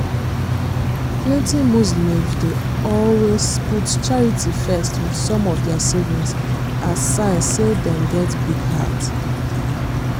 plenty muslims dey always put charity first wit some of dia savings as sign say dem get big heart.